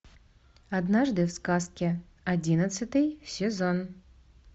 однажды в сказке одиннадцатый сезон